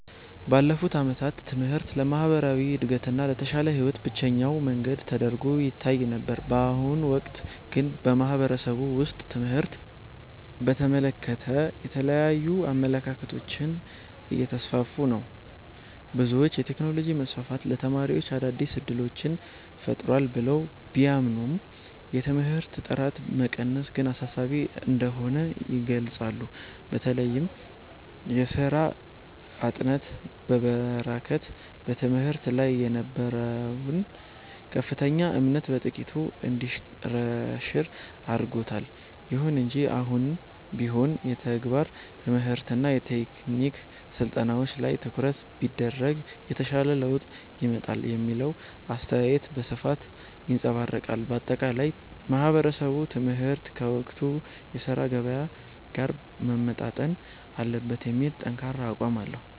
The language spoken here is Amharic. ባለፉት ዓመታት ትምህርት ለማህበራዊ እድገትና ለተሻለ ህይወት ብቸኛው መንገድ ተደርጎ ይታይ ነበር። በአሁኑ ወቅት ግን በማህበረሰቡ ውስጥ ትምህርትን በተመለከተ የተለያዩ አመለካከቶች እየተስፋፉ ነው። ብዙዎች የቴክኖሎጂ መስፋፋት ለተማሪዎች አዳዲስ እድሎችን ፈጥሯል ብለው ቢያምኑም፣ የትምህርት ጥራት መቀነስ ግን አሳሳቢ እንደሆነ ይገልጻሉ። በተለይም የሥራ አጥነት መበራከት በትምህርት ላይ የነበረውን ከፍተኛ እምነት በጥቂቱ እንዲሸረሸር አድርጎታል። ይሁን እንጂ አሁንም ቢሆን የተግባር ትምህርትና የቴክኒክ ስልጠናዎች ላይ ትኩረት ቢደረግ የተሻለ ለውጥ ይመጣል የሚለው አስተያየት በስፋት ይንፀባረቃል። ባጠቃላይ ማህበረሰቡ ትምህርት ከወቅቱ የሥራ ገበያ ጋር መጣጣም አለበት የሚል ጠንካራ አቋም አለው።